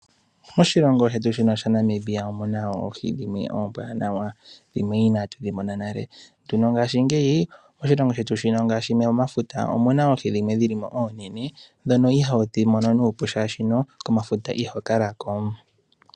Moshilongo shetu shino Namibia omu na oohi dhimwe ombwaanawa dhimwe inaa tu dhi mona o nale. Ndhino ngaashi ngeyi oshilongo shetu shino ngaashi omomafuta omuna oohi dhimwe dhilimo oonene ndhono ihoodhi mono nuupu shaashi komafuta iho kala ko.